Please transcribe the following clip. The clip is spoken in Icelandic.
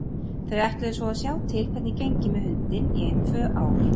Þau ætluðu svo að sjá til hvernig gengi með hundinn í ein tvö ár.